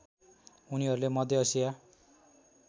उनीहरूले मध्य एसिया